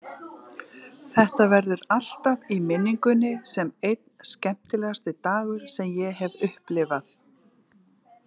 Þetta verður alltaf í minningunni sem einn skemmtilegasti dagur sem ég hef upplifað.